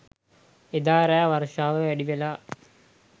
එදා රෑ වර්ෂාව වැඩිවෙලා